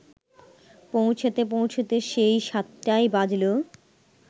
পৌঁছতে পৌঁছতে সেই সাতটাই বাজল